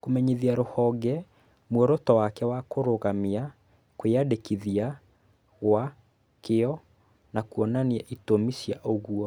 Kũmenyithia rũhonge muoroto wake wa kũrũgamia kwĩyandĩkithia gwa kĩo na kwonania itũmi cia ũguo.